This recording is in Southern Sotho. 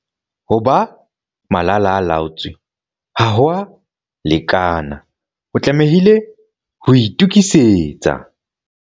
Ho ba malala-a-laotswe ha ho a lekana, o tlamehile ho itokisetsa!